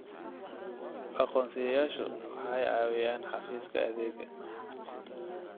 Aqoonsiyeyaashu waxay caawiyaan xafiiska xafiiska adeegga.